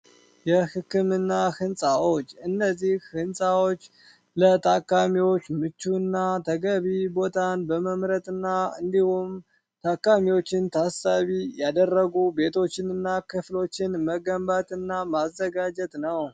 የሕክምና ሕንፃዎች እነዚህ ሕንፃዎች ለታካሚዎች ምቹ እና ተገቢ ቦታን በመምረት ና እንዲሁም ታካሚዎችን ታሳቢ ያደረጉ ቤቶችንና ክፍሎችን መገንባት እና ማዘጋጀት ነው